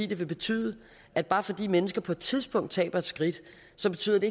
det vil betyde at bare fordi mennesker på et tidspunkt taber et skridt så betyder det